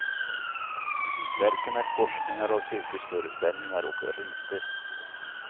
Verken är korsningar av cirkusföreställningar och riter.